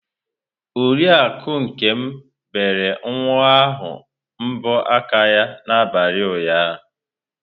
Oriakụ Nkem bere nwa ahụ mbọ aka ya n'abalị ụnyahụ.